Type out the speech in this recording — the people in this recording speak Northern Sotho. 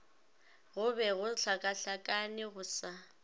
go be gohlakahlakane go sa